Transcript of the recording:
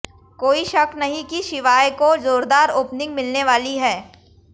कोई शक नहीं कि शिवाय को जोरदार ओपनिंग मिलने वाली है